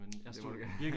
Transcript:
Det må du gerne